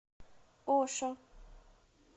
ошо